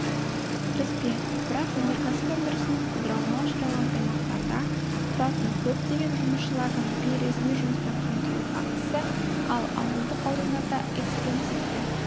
кіріспе бірақ өнерксіп өндірісінің құлдырауына ұшыраған аймақтарда тұратын көптеген жұмысшылардың бейресми жұмыспен қамтылу фактісі ал ауылдық аудандарда экстенсивті